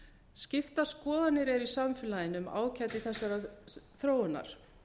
skiptar skoðanir eru í samfélaginu um ágæti þessarar þróunar